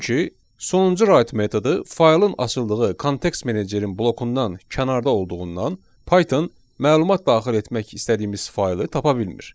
Çünki sonuncu right metodu faylın açıldığı kontekst menecerin blokundan kənarda olduğundan Python məlumat daxil etmək istədiyimiz faylı tapa bilmir.